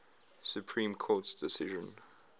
supreme court decision